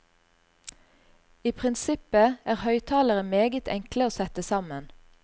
I prinsippet er høyttalere meget enkle å sette sammen.